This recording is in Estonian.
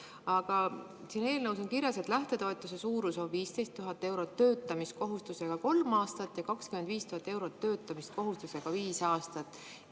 Aga eelnõus on kirjas, et lähtetoetuse suurus on 15 000 eurot töötamiskohustusega kolm aastat ja 25 000 eurot töötamiskohustusega viis aastat.